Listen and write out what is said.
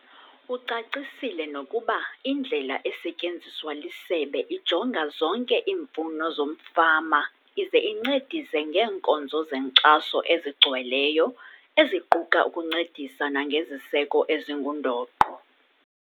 Ucacisile nokuba indlela esetyenziswa lisebe ijonga zonke iimfuno zomfama ize incedise ngeenkonzo zenkxaso ezigcweleyo, eziquka ukuncedisa nangeziseko ezingundoqo.